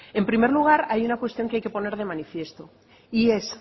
en primer lugar hay una cuestión que hay que poner de manifiesto y es